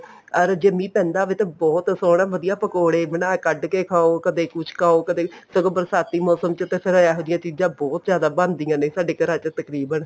ਅਰ ਜੇ ਮੀਂਹ ਪੈਂਦਾ ਹੋਵੇ ਤੇ ਬਹੁਤ ਸੋਹਣਾ ਵਧੀਆ ਪਕੋੜੇ ਬਣਾ ਕੱਢ ਕੇ ਖਾਓ ਕਦੇ ਕੁੱਝ ਖਾਓ ਅਗੋਂ ਬਰਸਾਤੀ ਮੋਸਮ ਚ ਤੇ ਫ਼ੇਰ ਇਹੋ ਜਿਹੀਆਂ ਚੀਜ਼ਾਂ ਬਹੁਤ ਜ਼ਿਆਦਾ ਬਣਦੀਆਂ ਨੇ ਸਾਡੇ ਘਰਾਂ ਚ ਤਕਰੀਬਨ